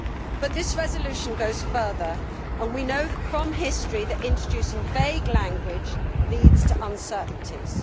But this resolution goes further, and we know from history that introducing vague language leads to uncertainties.